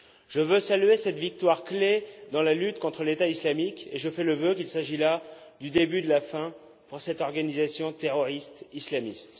Je veux saluer cette victoire clé dans la lutte contre l'État islamique, et je fais le vœu qu'il s'agisse là du début de la fin pour cette organisation terroriste islamiste.